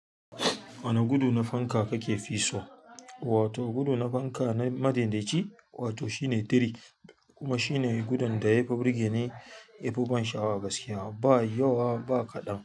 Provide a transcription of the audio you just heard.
Wani gudu na fanka kake fi so, wato gudu na fanka na madinɗaci wato shine tiri kuma shine gudun da yafi burge ni, yafi ban sha'awa gaskiya ba yawa ba kaɗan.